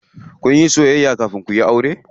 Kunyi soyayya kafin kuyi aure?